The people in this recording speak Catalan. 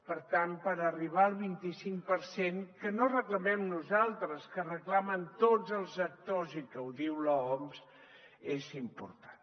per tant per arribar al vint i cinc per cent que no reclamem nosaltres que reclamen tots els actors i que ho diu l’oms és important